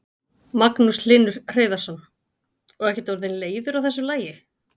Magnús Hlynur Hreiðarsson: Og ekkert orðinn leiður á þessu lagi?